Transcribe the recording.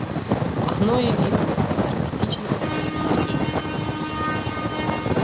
оно и видно саркастично говорит сергей